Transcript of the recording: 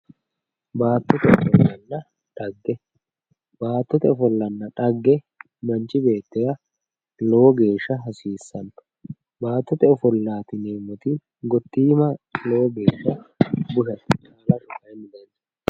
Baattote ofollanna dhagge, baattote ofollanna dhagge manchi beettira lowo geeshsha hasiisano ,baattote ofollati yineemmoti gottimma lowo geeshsha